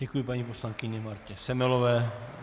Děkuji paní poslankyni Martě Semelové.